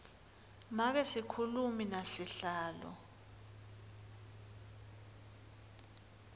make sikhulumi nasihlalo